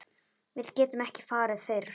Við getum ekki farið fyrr.